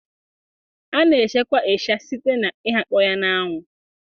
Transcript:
A na echekwa ịsha site na ighakpo ya na anwụ